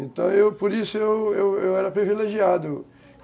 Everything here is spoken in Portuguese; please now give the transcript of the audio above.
Então, eu, por isso, eu eu era privilegiado.